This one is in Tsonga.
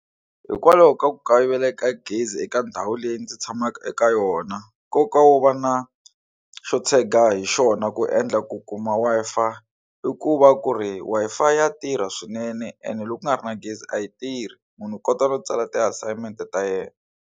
Hikwalaho ka ku kayivela ka gezi eka ndhawu leyi ndzi tshamaka eka yona nkoka wo va na xo tshega hi xona ku endla ku kuma Wi-Fi i ku va ku ri Wi-Fi ya tirha swinene ene loko ku nga ri na gezi a yi tirhi munhu u kota no tsala ti assignment ta yena.